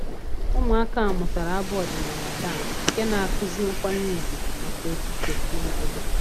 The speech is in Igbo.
Ụmụaka mụtara abụ ọdịnala taa nke na-akụzi nkwanye ùgwù maka okike na obodo